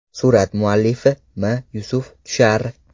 Surat muallifi M Yusuf Tushar.